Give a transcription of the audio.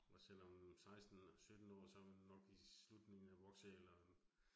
Også selvom 16 17, så man nok i slutningen af voksealderen